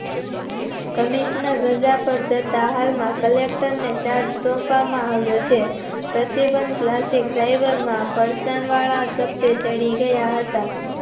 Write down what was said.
Commissioner રાજા પર જતા હાલ માં collector ને ચાર્જ સોંપવામાં આવ્યો છે પ્રતિબન્ધ Plastic driver માં ફર્શન વાળા ઝપટે ચડી ગયા હતા